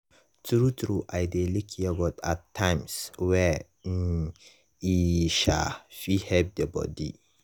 true true i dey lick yogurt at times wey um e um fit help the body.